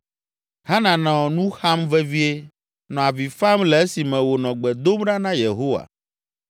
Hana nɔ nu xam vevie, nɔ avi fam le esime wònɔ gbe dom ɖa na Yehowa